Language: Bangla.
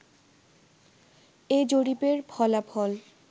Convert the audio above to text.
এ জরিপের ফলাফল